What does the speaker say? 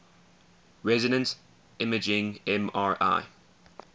resonance imaging mri